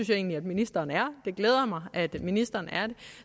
jeg egentlig ministeren er og det glæder mig at ministeren er det